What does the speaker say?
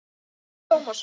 Nafni þinn Tómasson.